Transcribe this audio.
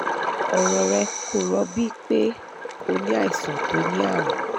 ọ̀rọ̀ rẹ kò rọ́bí pe o ní àìsàn tó ní àrùn